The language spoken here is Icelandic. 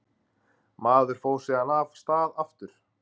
Maður fór síðan af stað aftur.